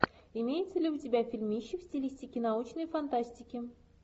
имеется ли у тебя фильмище в стилистике научной фантастики